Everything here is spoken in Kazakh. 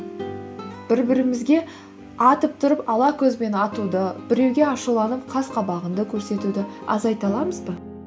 бір бірімізге атып тұрып ала көзбен атуды біреуге ашуланып қас қабағыңды көрсетуді азайта аламыз ба